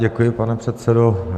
Děkuji, pane předsedo.